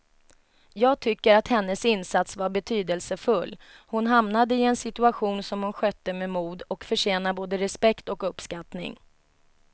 Jag tycker att hennes insats var betydelsefull, hon hamnade i en situation som hon skötte med mod och förtjänar både respekt och uppskattning.